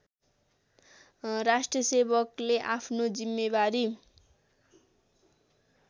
राष्ट्रसेवकले आफ्नो जिम्मेवारी